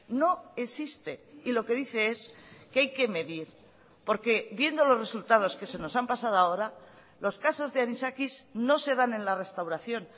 no existe y lo que dice es que hay que medir porque viendo los resultados que se nos han pasado ahora los casos de anisakis no se dan en la restauración